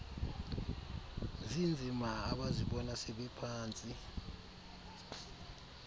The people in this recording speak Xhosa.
zinzima abazibona sebephantsi